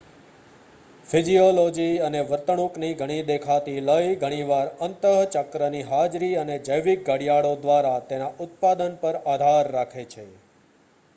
physiology અને વર્તણૂકની ઘણી દેખાતી લય ઘણીવાર અંત:ચક્રની હાજરી અને જૈવિક ઘડિયાળો દ્વારા તેના ઉત્પાદન પર આધાર રાખે છે